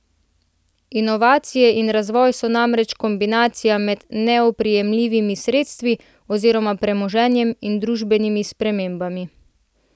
Inovacije in razvoj so namreč kombinacija med neoprijemljivimi sredstvi oziroma premoženjem in družbenimi spremembami.